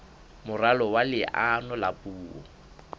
moralo wa leano la puo